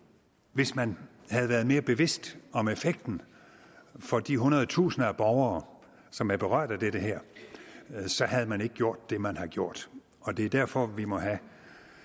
hvis man havde været mere bevidst om effekten for de hundrede tusinder borgere som er berørt af det her havde man ikke gjort det man har gjort og det er derfor vi må have